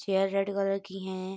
Chair red colour की हैं।